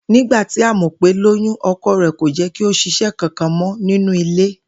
Nígbà tí Àmò̩pé lóyún, o̩ko̩ rè̩ kò jé̩́ kí o s̩is̩é̩ kankan mọ́ nínú ilé